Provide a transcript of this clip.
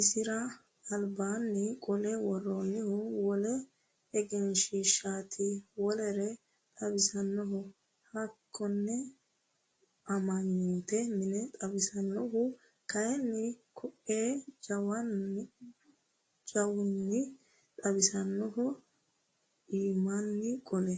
isira albaani qolle woronnihu wole egenshiishshaati wolere xawisannoho hakkonne amma'note mine xawisannohu kayiini ko"ee jawunni xaanfooniho imaanni qolle.